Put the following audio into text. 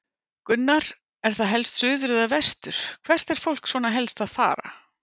Gunnar: Er það helst suður eða vestur, hvert er fólk svona helst að fara?